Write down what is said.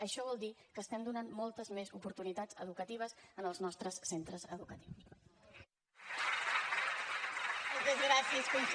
això vol dir que estem donant moltes més oportunitats educatives als nostres centres educatius